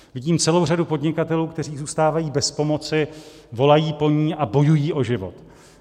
Vidím celou řadu podnikatelů, kteří zůstávají bez pomoci, volají po ní a bojují o život.